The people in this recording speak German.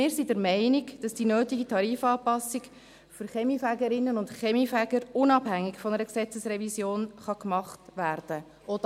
Wir sind der Meinung, dass die nötige Tarifanpassung für Kaminfegerinnen und Kaminfeger unabhängig von einer Gesetzesrevision gemacht werden kann.